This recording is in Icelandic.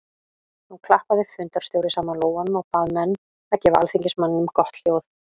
Nú klappaði fundarstjóri saman lófunum og bað menn að gefa alþingismanninum gott hljóð.